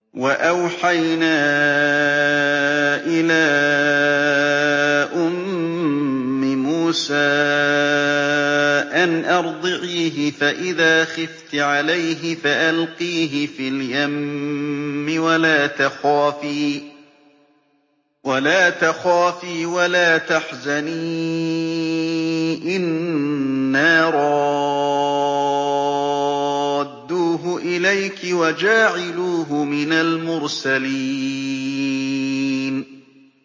وَأَوْحَيْنَا إِلَىٰ أُمِّ مُوسَىٰ أَنْ أَرْضِعِيهِ ۖ فَإِذَا خِفْتِ عَلَيْهِ فَأَلْقِيهِ فِي الْيَمِّ وَلَا تَخَافِي وَلَا تَحْزَنِي ۖ إِنَّا رَادُّوهُ إِلَيْكِ وَجَاعِلُوهُ مِنَ الْمُرْسَلِينَ